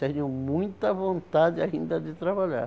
Tenho muita vontade ainda de trabalhar.